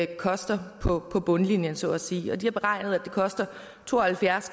koster på bundlinjen så at sige har beregnet at det koster to og halvfjerds